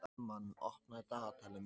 Hermann, opnaðu dagatalið mitt.